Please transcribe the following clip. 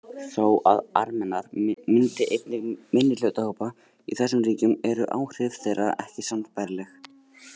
Þó að Armenar myndi einnig minnihlutahópa í þessum ríkjum eru áhrif þeirra ekki sambærileg.